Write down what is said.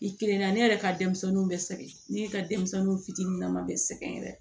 I kelen na ne yɛrɛ ka denmisɛnninw bɛ sɛgɛn ne ka denmisɛnninw fitini nama bɛ sɛgɛn yɛrɛ